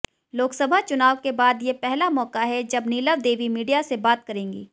लोकसभा चुनाव के बाद ये पहला मौका है जब नीलम देवी मीडिया से बात करेंगी